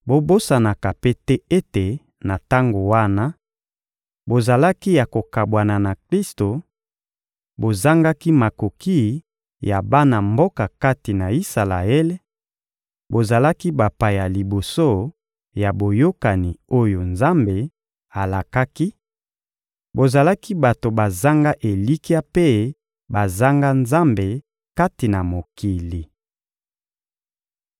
Bobosanaka mpe te ete na tango wana, bozalaki ya kokabwana na Klisto, bozangaki makoki ya bana mboka kati na Isalaele, bozalaki bapaya liboso ya boyokani oyo Nzambe alakaki, bozalaki bato bazanga elikya mpe bazanga Nzambe kati na mokili.